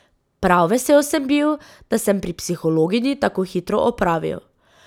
Prav vesel sem bil, da sem pri psihologinji tako hitro opravil.